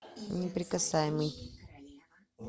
неприкасаемый